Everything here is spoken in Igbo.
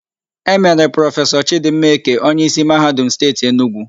E mere Prọfesọ Chịdịmma Eke onyeísí Mahadum Steeti Enugwu.